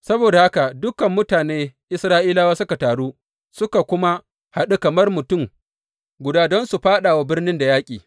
Saboda haka dukan mutane Isra’ilawa suka taru suka kuma haɗu kamar mutum guda don su fāɗa wa birnin da yaƙi.